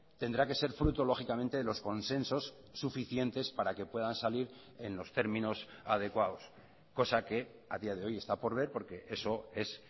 tendrá que ser fruto lógicamente de los consensos suficientes para que puedan salir en los términos adecuados cosa que a día de hoy está por ver porque eso es